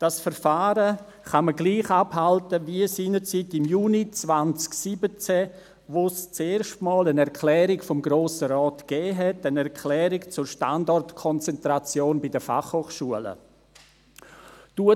Dieses Verfahren kann gleicher ablaufen wie seinerzeit im Juni 2017, als es zum ersten Mal eine Erklärung des Grossen Rates gab, eine Erklärung zur Standortkonzentration der Fachhochschulen.